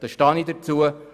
Dazu stehe ich.